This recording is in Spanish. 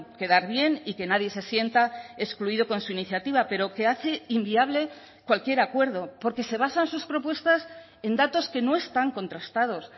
quedar bien y que nadie se sienta excluido con su iniciativa pero que hace inviable cualquier acuerdo porque se basan sus propuestas en datos que no están contrastados